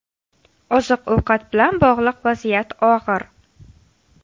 Oziq-ovqat bilan bog‘liq vaziyat og‘ir.